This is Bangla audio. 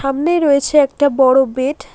সামনেই রয়েছে একটা বড় বেড ।